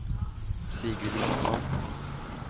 Sigrid Matsson